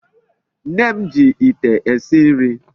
Nne m ji Ite esi nri